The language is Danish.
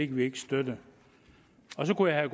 kan vi ikke støtte og så kunne jeg